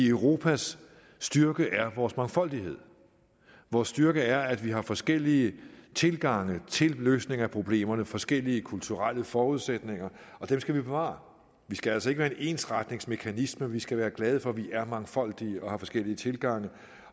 europas styrke er vores mangfoldighed vores styrke er at vi har forskellige tilgange til løsning af problemerne forskellige kulturelle forudsætninger og dem skal vi bevare vi skal altså ikke være en ensretningsmekanisme vi skal være glade for vi er mangfoldige og har forskellige tilgange